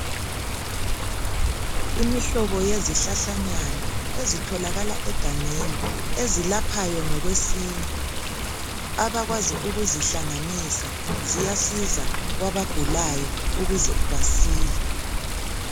Imihlobo yezihlahlanyana ezitholakala egangeni ezilaphayo ngokwesintu. Abakwazi ukuzihlanganisa ziyasiza kwabagulayo ukuze basile.